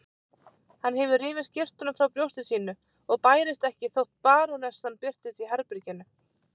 Hann hefur rifið skyrtuna frá brjósti sínu og bærist ekki þótt barónessan birtist í herberginu.